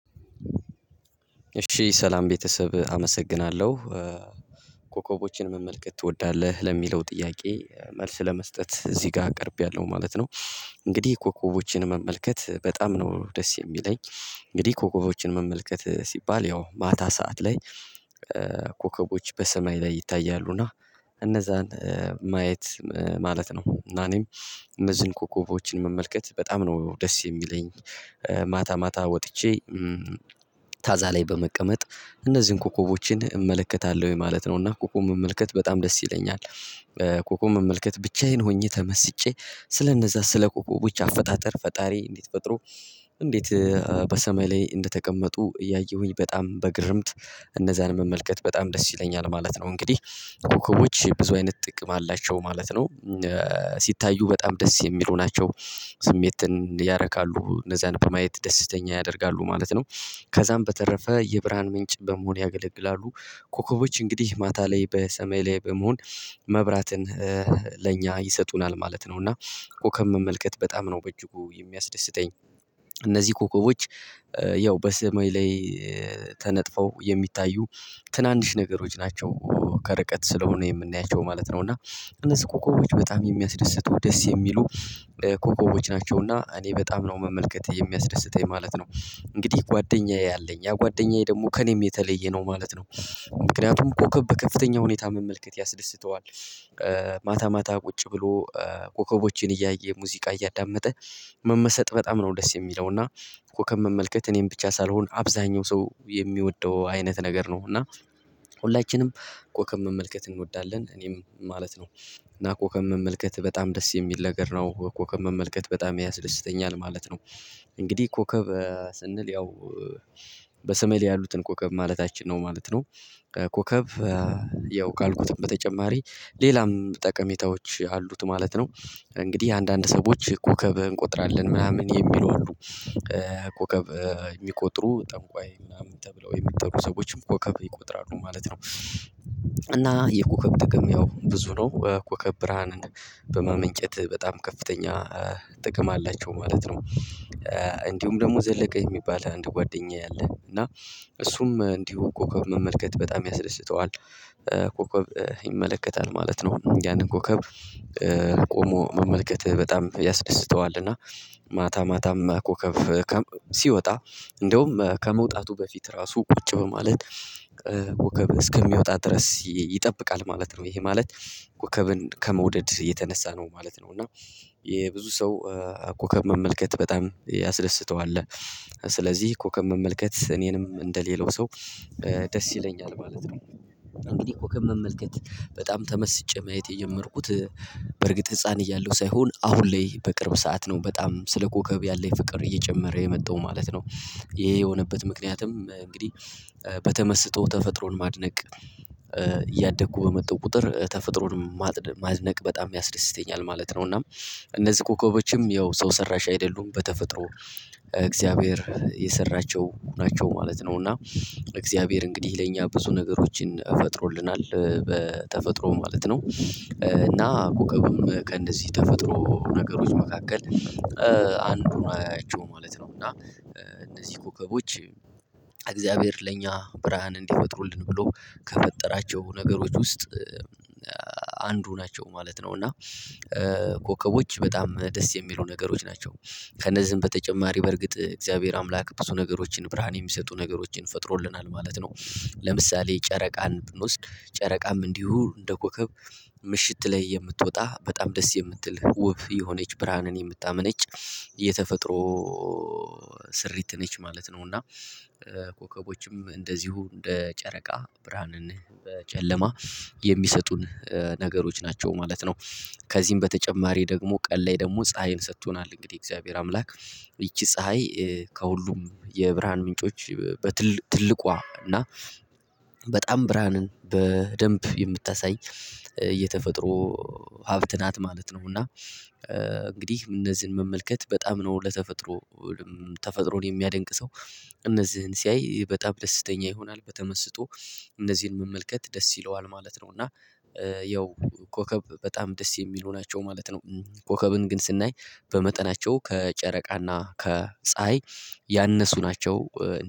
እሺ ሰላም ቤተሰብ አመሰግናለሁ። ኮከቦችን መመልከት ትወዳለህ? ለሚለው ጥያቄ መልስ ለመስጠት እዚህ ጋር ቀርቤያለሁ ማለት ነው። እንግዲህ ኮከቦችን መመልከት በጣም ነው ደስ የሚለኝ እንግዲህ ኮከቦችን መመልከት ሲባል ያው ማታ ሰዓት ላይ ኮከቦች በሰማይ ላይ ይታያሉና እነዛን ማየት ማለት ነው። እና እኔም እነዚህን ኮከቦች መመልከት በጣም ነው ደስ የሚለኝ። ማታ ማታ ወጥቼ ታዛ ላይ በመቀመጥ እነዚህን ኮኮቦችን እመለከታለሁ ወይ ማለት ነው። እና ኮኮብ መመልከት በጣም ደስ ይለኛል። ኮኮብ መመልከት ብቻዬን ሆኜ ተመስጬ ስለነዛ ስለ ኮኮቦች አፈጣጠር ፈጣሪ እንዴት ፈጥሮ እንዴት በሰማይ ላይ እንደተቀመጡ እያየሁኝ በጣም በግርምት እነዛን መመልከት በጣም ደስ ይለኛል ማለት ነው። እንግዲህ ኮከቦች ብዙ አይነት ጥቅም አላቸው ማለት ነው ሲታዩ በጣም ደስ የሚሉ ናቸው። ስሜትን ያረካሉ እነዛን በማየት ደስተኛ ያደርጋሉ ማለት ነው። ከዛም በተረፈ የብርሃን ምንጭ በመሆን ያገለግላሉ። ኮከቦች እንግዲህ ማታ ላይ በሰማይ ላይ በመሆን መብራትን ለእኛ ይሰጡናል ማለት ነው። እና ኮከብ መመልከት በጣም ነው በእጅጉ የሚያስደስተኝ። እነዚህ ኮከቦች ያው በሰማይ ላይ ተነጥፈው የሚታዩ ትናንሽ ነገሮች ናቸው። ከርቀት ስለሆነ የምናያቸው ማለት ነው። እና እነዚህ ኮከቦች በጣም የሚያስደስቱ ደስ የሚሉ ኮከቦች ናቸውና እኔ በጣም ነው መመልከት የሚያስደስተኝ ማለት ነው። እንግዲህ ጓደኛዬ አለኝ ያ ጓደኛዬ ደግሞ ከእኔም የተለየ ነው ማለት ነው። ምክንያቱም ኮከብ ከፍተኛ ሁኔታ መመልከት ያስደስተዋል። ማታ ቁጭ ብሎ ኮከቦችን እያየ ሙዚቃ እያዳመጠ መመሰጥ በጣም ነው ደስ የሚለው። እና ኮከብ መመልከት እኔን ብቻ ሳልሆን አብዛኛው ሰው የሚወደው አይነት ነገር ነው። እና ሁላችንም ኮከብ መመልከት እንወዳለን። እኔም ማለት ነው። እና ኮከብ መመልከት በጣም ደስ የሚል ነገር ነው። ኮከብ መመልከት በጣም ያስደስተኛል ማለት ነው። እንግዲህ ኮከብ ስንል ያው በሰማይ ያሉትን ኮከብ ማለታችን ነው ማለት ነው። ኮከብ ያው ካልኩትም በተጨማሪ ሌላም ጠቀሜታዎች አሉት ማለት ነው። እንግዲህ አንዳንድ ሰዎች ኮከብ እንቆጥራለን ምናምን የሚሉ አሉ። ኮከብ የሚቆጥሩ ጠንቋይ ምናምን ተብለው የሚጠሩ ሰዎችም ኮከብ ይቆጥራሉ ማለት ነው። እና የኮከብ ጥቅም ያው ብዙ ነው ኮከብ ብርሃንን በማመንጨት በጣም ከፍተኛ ጥቅም አላቸው ማለት ነው። እንዲሁም ደግሞ ዘለቀ የሚባል አንድ ጓደኛዬ አለ። እና እሱም እንዲሁ ኮከብ መመልከት በጣም ያስደስተዋል። ኮከብ ይመለከታል ማለት ነው። ያንን ኮከብ ቆሞ መመልከት በጣም ያስደስተዋል። እና ማታ ማታም ኮከብ ሲወጣ እንደውም ከመውጣቱ በፊት ራሱ ቁጭ ብሎ ማለት ኮከብ እስከሚወጣ ድረስ ይጠብቃል ማለት ነው። ይሄ ማለት ኮከብን ከመውደድ የተነሳ ነው ማለት ነው። እና የብዙ ሰው ኮከብ መመልከት በጣም ያስደስተዋል። ስለዚህ ኮከብ መመልከት እኔንም እንደሌላው ሰው ደስ ይለኛል ማለት ነው። እንግዲህ ኮከብ መመልከት በጣም ተመስጬ ማየት የጀመርኩት በርግጥ ህፃን እያለሁ ሳይሆን አሁን ላይ በቅርብ ሰዓት ነው በጣም ስለ ኮከብ ያለኝ ፍቅር እየጨመረ የመጣው ማለት ነው። ይሄ የሆነበት ምክንያትም እንግዲህ በተመስጦ ተፈጥሮን ማድነቅ እያደኩ በመጣው ቁጥር ተፈጥሮን ማድነቅ በጣም ያስደስተኛል ማለት ነው። እና እነዚህ ኮከቦችም ያው ሰው ሰራሽ አይደሉም በተፈጥሮ እግዚአብሔር የሰራቸው ናቸው ማለት ነው። እና እግዚአብሔር እንግዲህ ለእኛ ብዙ ነገሮችን ፈጥሮልናል በተፈጥሮ ማለት ነው። እና ኮከብም ከእንነዚህ ተፈጥሮ ነገሮች መካከል አንዱ ናቸው ማለት ነው። እና እነዚህ ኮከቦች እግዚአብሔር ለእኛ ብርሃን እንዲፈጥሩልን ብሎ ከፈጠራቸው ነገሮች ውስጥ አንዱ ናቸው ማለት ነው። እና ኮከቦች በጣም ደስ የሚሉ ነገሮች ናቸው። ከነዚህም በተጨማሪ በርግጥ እግዚአብሔር አምላክ ብዙ ነገሮችን ብርሃን የሚሰጡ ነገሮችን ፈጥሮልናል ማለት ነው። ለምሳሌ ጨረቃን ብንወስድ ጨረቃም እንዲሁ እንደ ኮከብ ምሽት ላይ የምትወጣ በጣም ደስ የምትል ውብ የሆነች ብርሃንን የምታመነጭ የተፈጥሮ ስሪት ነች ማለት ነው። እና ኮከቦችም እንደዚሁ እንደ ጨረቃ ብርሃንን በጨለማ የሚሰጡን ነገሮች ናቸው ማለት ነው። ከዚህም በተጨማሪ ደግሞ ቀን ላይ ደግሞ ፀሀይን ሰጥቶናል እንግዲህ የእግዚአብሔር አምላክ። ይቺ ፀሀይ ከሁሉም የብርሃን ምንጮች በትል ትልቋ እና በጣም ብርሃንን በደንብ የምታሳይ የተፈጥሮ ሀብት ናት ማለት ነው። እና እንግዲህ እነዚህን መመልከት በጣም ነው ለተፈጥሮ ተፈጥሮን የሚያደንቅ ሰው እነዚህን ሲያይ በጣም ደስተኛ ይሆናል። በተመስጦ እነዚህን መመልከት ደስ ይለዋል ማለት ነው። እና ያው ኮከብ በጣም ደስ የሚሉ ናቸው ማለት ነው። ኮከብን ግን ስናይ በመጠናቸው ከጨረቃና ከፀሀይ ያነሱ ናቸው።